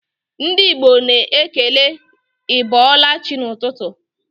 Ndị Igbo na-ekele 'ị bọọla chi' n'ụtụtụ